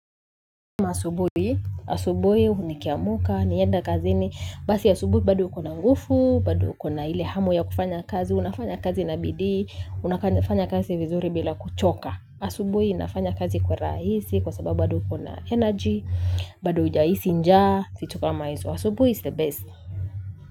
Masubui, asubui, nikiamuka, niende kazini, basi asubui bado ukona ngufu, bado ukona ile hamu ya kufanya kazi, unafanya kazi na bidii, unafanya kazi vizuri bila kuchoka. Asubui, inafanya kazi kwa rahisi, kwa sababu bado ukona energy, bado ujahisi njaa, vitu kama hizo. Asubui is the best.